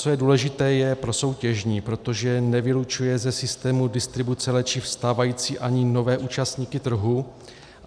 Co je důležité, je prosoutěžní, protože nevylučuje ze systému distribuce léčiv stávající ani nové účastníky trhu.